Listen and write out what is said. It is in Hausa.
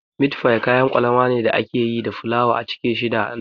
Mit fif kayan kwalama ne da ake yi da fulawa a cike shi da nama